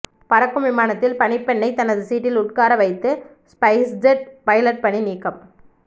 பறக்கும் விமானத்தில் பணிப்பெண்ணை தனது சீட்டில் உட்கார வைத்த ஸ்பைஸ்ஜெட் பைலட் பணி நீக்கம்